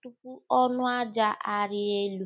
tupu ọnụ aja arịa elu.